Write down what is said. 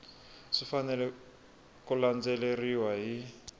swi fanele ku landzeleriwa hi